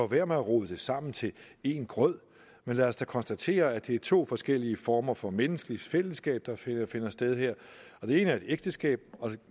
være at rode det sammen til en grød men lad os da konstatere at det er to forskellige former for menneskeligt fællesskab der finder finder sted her og det ene er et ægteskab